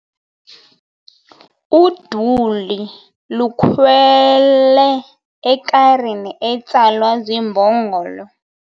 Uduli lukhwele ekarini etsalwa ziimbongolo.